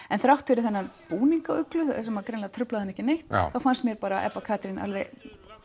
en þrátt fyrir þennan búning á Uglu sem greinilega truflaði mig ekki neitt þá fannst mér Ebba Katrín alveg